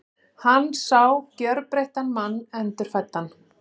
Hann sá gjörbreyttan mann, endurfæddan.